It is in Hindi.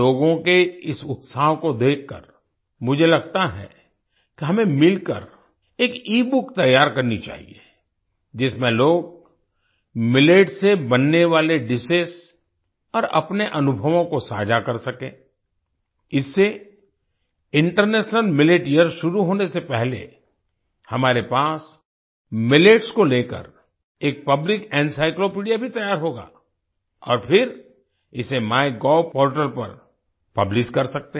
लोगों के इस उत्साह को देखकर मुझे लगता है कि हमें मिलकर एक ईबुक तैयार करनी चाहिए जिसमें लोग मिलेट से बनने वाले डिशेस और अपने अनुभवों को साझा कर सकें इससे इंटरनेशनल मिलेट यियर शुरू होने से पहले हमारे पास मिलेट्स को लेकर एक पब्लिक एनसाइक्लोपीडिया भी तैयार होगा और फिर इसे माइगोव पोर्टल पर पब्लिश कर सकते हैं